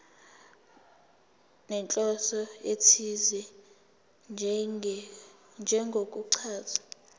nenhloso ethize njengokuchaza